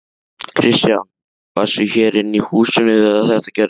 Kristján: Varstu hér inni í húsinu þegar þetta gerðist?